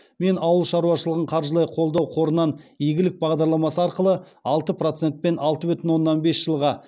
мен ауыл шаруашылығын қаржылай қолдау қорынан игілік бағдарламасы арқылы алты процентпен алты бүтін оннан бес жылға